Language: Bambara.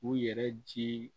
U yɛrɛ ji